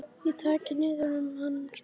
Og takið niður um hann piltar.